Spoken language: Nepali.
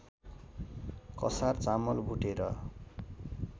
कसार चामल भुटेर